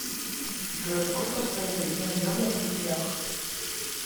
джой сколько стоит одно евро в рублях